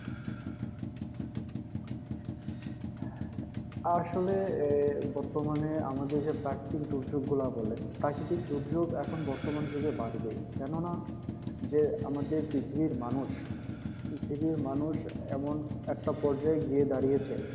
আসলে এর বর্তমানে আমাদের যে প্রাকৃতিক দুর্যোগগুলা বলেন প্রাকৃতিক দুর্যোগ এখন বর্তমান যুগে বাড়বেই কেন না আমাদের পৃথিবীর মানুষ পৃথিবীর মানুষ এমন একটা পর্যায়ে গিয়ে দাঁড়িয়েছে